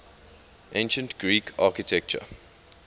ancient greek architecture